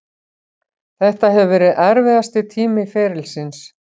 Þetta hefur verið erfiðasti tími ferilsins.